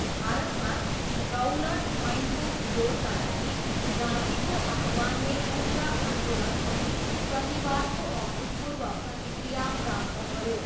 भारतमा, रौलट ऐनको विरोधका लागि गान्धीको आह्वानले उग्र आन्दोलन अनि प्रतिवादको अभूतपूर्व प्रतिक्रिया प्राप्त गऱ्यो।